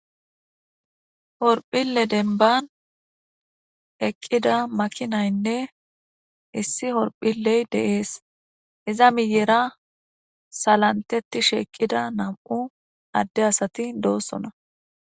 Horphille denban eqida makinaynne issi horphilleynne dees izza miyerra salantetishe eqida nam'u adde asati dossona.